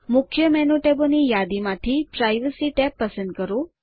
મુખ્ય મેનુ ટેબોની યાદીમાંથી પ્રાઇવસી ટેબ પસંદ કરો